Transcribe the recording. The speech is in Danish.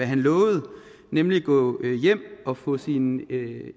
han lovede nemlig at gå hjem og få sine